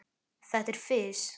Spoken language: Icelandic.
Þetta er fis.